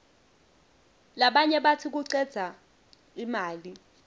labanye batsi kucedza imali